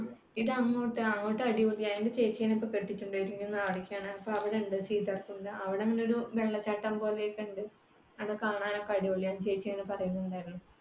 ഇതങ്ങോട്ട്, അങ്ങോട്ട് അടിപൊളിയാ എന്റെ ചേച്ചീനെ കെട്ടികൊണ്ടുപോയത് അവിടേക്കാണ്. അവിടെയുണ്ട് സീതാര്കുണ്ട്. അവിടെ ഒരു വെള്ളച്ചാട്ടം പോലെയൊക്ക ഉണ്ട്. അത് കാണാൻ ഒക്കെ അടിപൊളിയാണ്. ചേച്ചി അങ്ങനെ പറയുന്നുണ്ടായിരുന്നു.